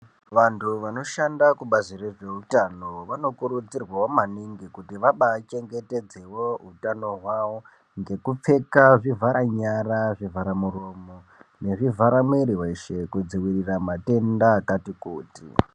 Vantu vanoshanda kubazi rezveutano vanokurudzirwa maningi kuti vabaachengetedzewo utano hwao ngekupfeka zvivhara nyara zvivhara muromo nezvivhara mwiri weshe kudziwirira matenda akati kuti.